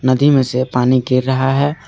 नदी में से पानी गिर रहा है।